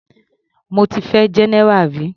Mo ti fẹ́ general rí.